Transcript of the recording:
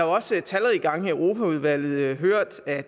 også talrige gange i europaudvalget hørt at